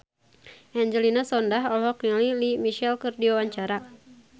Angelina Sondakh olohok ningali Lea Michele keur diwawancara